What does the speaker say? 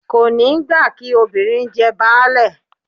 Kò ní gbà kí “ obìnrin jẹ baálé ”